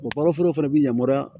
O kalo fila fana bi yamaruya